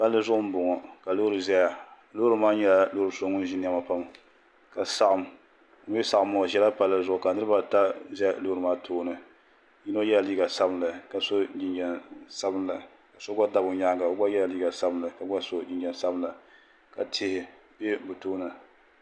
Palli zuɣu n bɔŋɔ ka loori ʒɛya loori maa nyɛla loori so ŋun ʒi niɛma pam ka saɣam o mii ni saɣam maa o ʒɛla palli zuɣu ka niraba ata ʒɛ loori maa tooni bi puuni yino yɛla liiga sabinli ka so jinjɛm sabinli so gba tam o nyaanga o gba yɛla liiga sabinli ka gba so jinjɛm sabinli ka tihi bɛ bi tooni